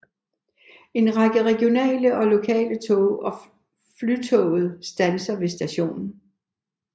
En række regionale og lokale tog og Flytoget standser ved stationen